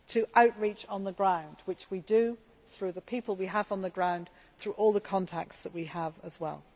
our outreach on the ground, which we do through the people we have on the ground and through all the contracts that we have as well.